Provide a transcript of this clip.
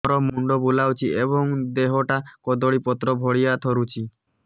ମୋର ମୁଣ୍ଡ ବୁଲାଉଛି ଏବଂ ଦେହଟା କଦଳୀପତ୍ର ଭଳିଆ ଥରୁଛି